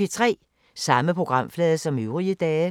Samme programflade som øvrige dage